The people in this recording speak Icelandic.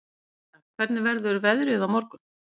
Thea, hvernig verður veðrið á morgun?